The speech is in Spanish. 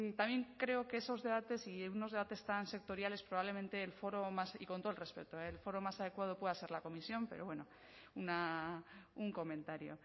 también creo que esos debates y unos debates tan sectoriales probablemente el foro y con todo el respeto el foro más adecuado pueda ser la comisión pero bueno un comentario